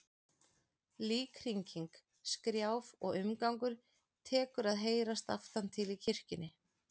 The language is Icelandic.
Líkhringing, skrjáf og umgangur tekur að heyrast aftan til í kirkjunni.